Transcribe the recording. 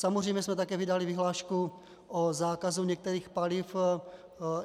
Samozřejmě jsme také vydali vyhlášku o zákazu některých paliv.